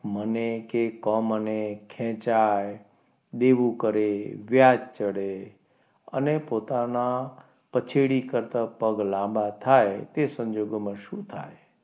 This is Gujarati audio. મને કે કમ મને અને ખેંચાય દેવો કરે દેવું કરે વ્યાજ ચડે અને પોતાના પછેડી કરતા પગ લાંબા થાય તે સંજોગોમાં શું થાય?